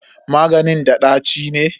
Maganin da ɗaci ne?